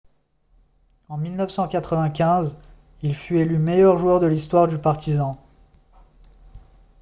en 1995 il fut élu meilleur joueur de l'histoire du partizan